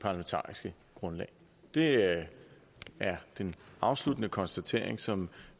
parlamentariske grundlag det er den afsluttende konstatering som